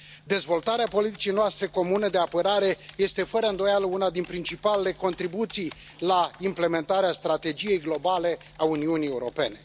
Dezvoltarea politicii noastre comune de apărare este, fără îndoială, una dintre principalele contribuții la implementarea strategiei globale a Uniunii Europene.